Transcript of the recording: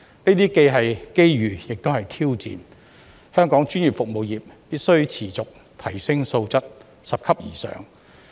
這些既是機遇，又是挑戰，香港專業服務業必須持續提升質素，拾級而上。